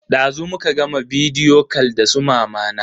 Dazu muka gama bidiyo kal da su mamana.